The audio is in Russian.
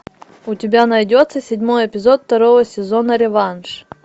у тебя найдется седьмой эпизод второго сезона реванш